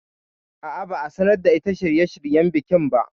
A'a, ba a sanar da ita shirye shiryen bikin ba